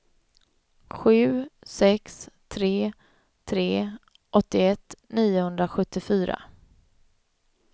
sju sex tre tre åttioett niohundrasjuttiofyra